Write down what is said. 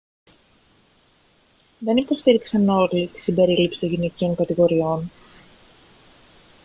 δεν υποστήριξαν όλοι την συμπερίληψη των γυναικείων κατηγοριών